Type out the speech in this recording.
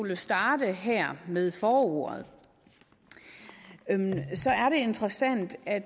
vi starter her med forordet er det interessant at